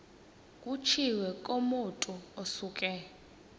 kutshiwo kumotu osuke